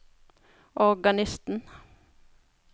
organisten